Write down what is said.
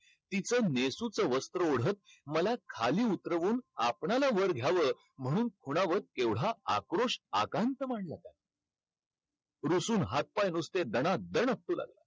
तिचं नेसुचं वस्त्र ओढत मला खाली उतरवून आपणाला वर घ्यावं म्हणून खुणावत एवढा आक्रोश आकांत मांडला होता. रुसून हात-पाय नुसते दणादण आपटू लागला.